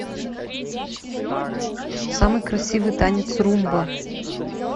самый красивый танец румба